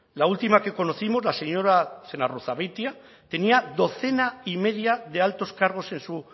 la última que conocimos la señora zenarruzabeitia tenía docena y media de altos cargos en su